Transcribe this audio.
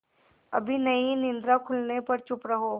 अभी नहीं निद्रा खुलने पर चुप रहो